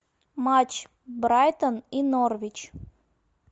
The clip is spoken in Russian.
матч брайтон и норвич